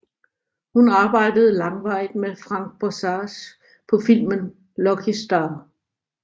Hun arbejdede langvarigt med Frank Borzage på filmen Lucky Star